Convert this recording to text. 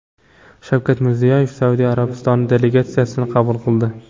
Shavkat Mirziyoyev Saudiya Arabistoni delegatsiyasini qabul qildi.